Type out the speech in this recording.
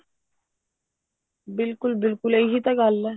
ਬਿਲਕੁਲ ਇਹੀ ਤਾਂ ਗੱਲ ਹੈ